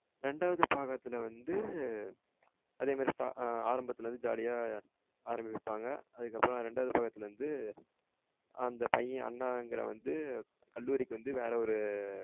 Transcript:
ரெண்டாவது பக்கத்துல வந்து அதே மாரி ஆரம்பத்தில வந்து jolly அஹ ஆரமிப்பாங்க. அதுக்கு அப்புறம் ரெண்டாவது பக்கத்துல வந்து அந்த பையன் அண்ணாகிறவன் வந்து கல்லூரிக்கு வந்து வேற ஒரு